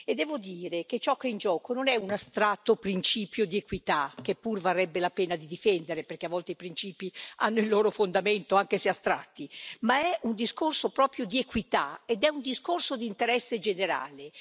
E devo dire che ciò che è in gioco non è un astratto principio di equità che pur varrebbe la pena di difendere, perché a volte i principi hanno il loro fondamento, anche se astratti ma è un discorso proprio di equità ed è un discorso di interesse generale.